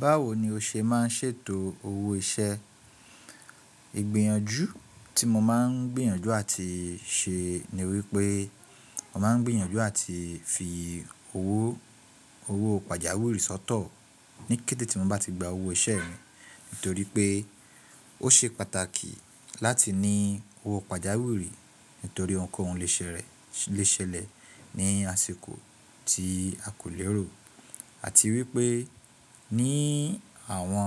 Báwo ni o ṣe máa ń ṣètò owó iṣẹ́? Ìgbèyànjú tí mo máa ń gbìyànjú àti ṣe ni wípé mo máa ń gbìyànjú àti fi owó, owó pàjáwìrì sọ́tọ̀ ní kété tí mo bá ti gba owó iṣẹ́ mi. Nítorí pé ó ṣe pàtàkì láti ní owó pàjáwìrì nítorí ohunkóhun lè ṣẹlẹ̀, lè ṣẹlẹ̀ ní àsìkò tí a kò lérò. Àti wípé ní àwọn,